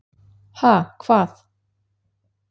Ha, hvað?